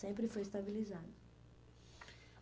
Sempre foi estabilizado.